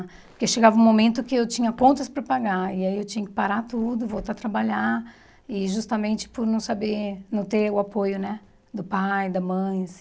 Porque chegava um momento que eu tinha contas para pagar, e aí eu tinha que parar tudo, voltar a trabalhar, e justamente por não saber não ter o apoio né do pai, da mãe.